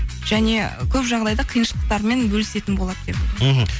және көп жағдайда қиыншылықтармен бөлісетін болады деп мхм